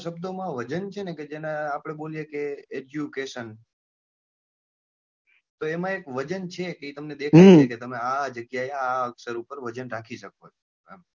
શબ્દોમાં વજન છે ને કે જેને બોલીએ કે education તો એમાં એક વજન છે કે તમને દેખાય છે કે આ આ જગ્યા એ આ અક્ષર પર વજન રાખી શકો છો બરોબર છે.